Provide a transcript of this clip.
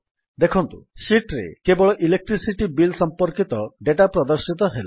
ଦେଖନ୍ତୁ ଶୀଟ୍ ରେ କେବଳ ଇଲେକ୍ଟ୍ରିସିଟି ବିଲ୍ ସମ୍ପର୍କିତ ଡାଟା ପ୍ରଦର୍ଶିତ ହେଲା